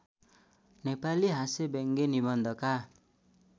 नेपाली हास्यव्यङ्ग्य निबन्धका